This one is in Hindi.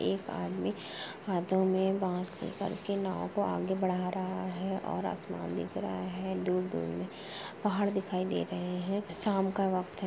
एक आदमी हाथो में बांस पकड़ कर के नाव को आगे बढ़ा रहा है और आसमान दिख रहा है दूर-दूर में पहाड़ दिखाई दे रहे हैं शाम का वक़्त है।